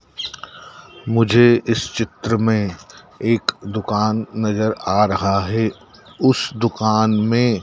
मुझे इस चित्र में एक दुकान नजर आ रहा है उस दुकान में--